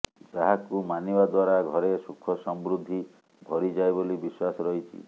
ଯାହାକୁ ମାନିବା ଦ୍ୱାରା ଘରେ ସୁଖସମୃଦ୍ଧି ଭରିଯାଏ ବୋଲି ବିଶ୍ୱାସ ରହିଛି